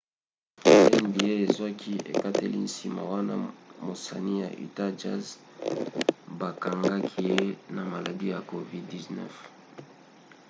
nba ezwaki ekateli nsima wana mosani ya utah jazz bakangaki ye na maladi ya covid-19